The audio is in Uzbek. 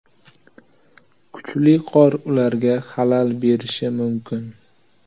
Kuchli qor ularga xalal berishi mumkin.